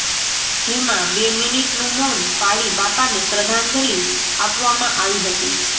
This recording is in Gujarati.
જેમાં બે મિનીટનું મૌન પાળી બાપાને શ્રદ્ઘાંજલી આપવામાં આવી હતી